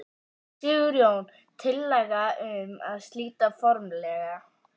Sigurjón: Tillaga um það að slíta formlega?